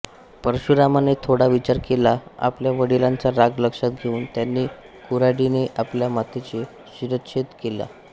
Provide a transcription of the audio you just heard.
परशुरामाने थोडा विचार केला आपल्या वडिलांचा राग लक्षात घेऊन त्यांनी कुऱ्हाडीने आपल्या मातेचा शिरच्छेद केला